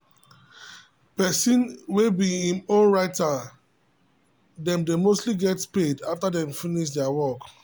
person way be him own writer dem dey mostly get paid after dem finish there work